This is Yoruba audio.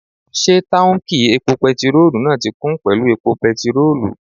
Ṣé táùnkì epo pẹtirólù náà ti kún pẹ̀lú epo pẹtirólù?